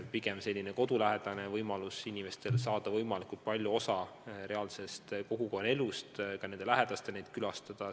Pigem olgu kodulähedane võimalus, mis lubab inimestel saada võimalikult palju osa kogukonna elust, ja ka lähedastel on kergem hoolealuseid külastada.